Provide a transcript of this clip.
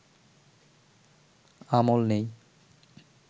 আমল নেই